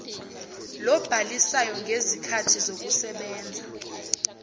lobhalisayo ngezikhathi zokusebenza